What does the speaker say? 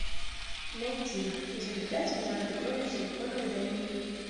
найти изобретатель жажда крови в силиконовой долине